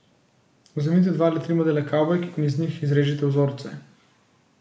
Vzemite dva ali tri modele kavbojk in iz njih izrežite vzorce.